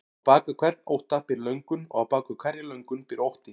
Á bak við hvern ótta býr löngun og á bak við hverja löngun býr ótti.